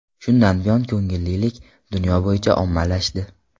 Shundan buyon ko‘ngillilik dunyo bo‘yicha ommalashdi.